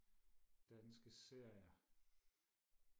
danske serier